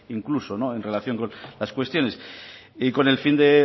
incluso en relación con las cuestiones y con el fin de